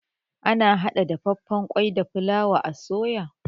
Ana hada dafaffan kwai da fulawa a soya.